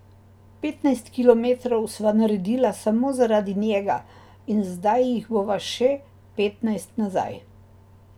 Petnajst kilometrov sva naredila samo zaradi njega in zdaj jih bova še petnajst nazaj.